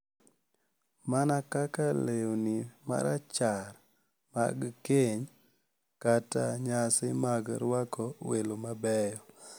Mana kaka lewni marachar mag keny kata nyasi mag rwako welo mabeyo,